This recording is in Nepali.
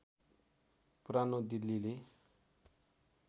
पुरानो दिल्लीले